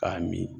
K'a min